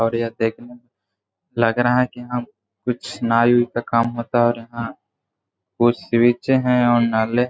और ये देखने में लग रहा है की हम कुछ नाई-वाई का काम होता है और यहां कुछ स्विच है। और नाले